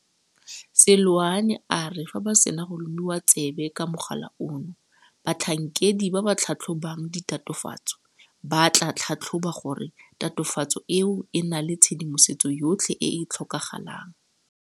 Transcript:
Seloane a re fa ba sena go lomiwa tsebe ka mogala ono, batlhankedi ba ba tlhatlhobang ditatofatso ba tla tlhatlhoba gore tatofatso eo e na le tshedimosetso yotlhe e e tlhokagalang.